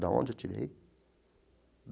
Da onde eu tirei?